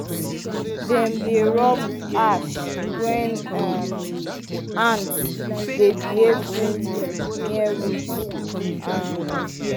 dem dey rub ash when um ants dey behave strangely near roots. um